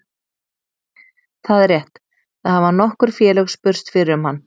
Það er rétt, það hafa nokkur félög spurst fyrir um hann.